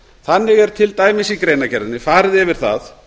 þannig er til dæmis í greinargerðinni farið yfir það